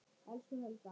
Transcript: Elsku Helga.